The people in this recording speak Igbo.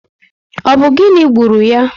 Ọ bụ gịnị gburu ya?